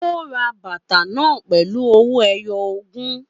Ó ra bàtà náà pẹ̀lú ọwọ́ ẹyọ ogún